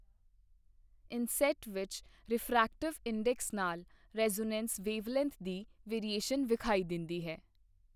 Inset ਵਿੱਚ refractive index ਨਾਲ resonance wavelength ਦੀ ਵੇਰੀਏਸ਼ਨ ਵਿਖਾਈ ਦਿੰਦੀ ਹੈ।